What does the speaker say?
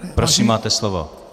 Prosím, máte slovo.